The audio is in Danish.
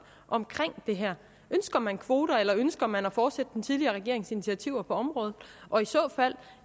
om det her ønsker man kvoter eller ønsker man at fortsætte den tidligere regerings initiativer på området og i så fald